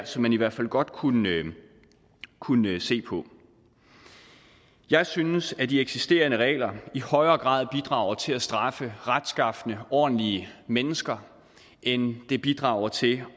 som man i hvert fald godt kunne kunne se på jeg synes at de eksisterende regler i højere grad bidrager til at straffe retskafne og ordentlige mennesker end de bidrager til